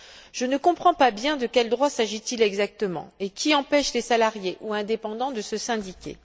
Je ne comprends pas bien de quels droits il s'agit exactement et qui empêche les salariés ou les indépendants de se syndiquer.